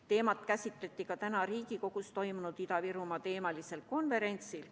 Teemat käsitleti ka täna Riigikogus toimunud Ida‑Virumaa‑teemalisel konverentsil.